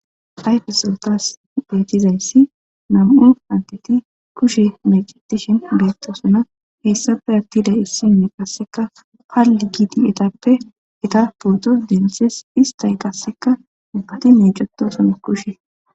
Ayfeson tasi bettizaysi nam'u adeti kushshe meccetishe bettosona hessape atida issiniya qasseka pali giidi eetape eeta pooto denththes issti qasseka namati meccetossona kushshe.